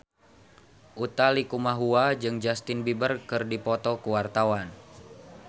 Utha Likumahua jeung Justin Beiber keur dipoto ku wartawan